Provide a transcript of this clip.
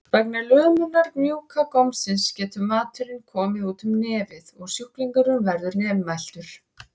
Vegna lömunar mjúka gómsins getur maturinn komið út um nefið og sjúklingurinn verður nefmæltur.